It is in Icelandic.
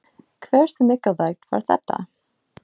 Hversu mikilvægt var þetta?